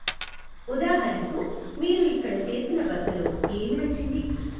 ఉదాహరణకు, మీరు ఇక్కడ చేసిన బసలో ఏమి నచ్చింది?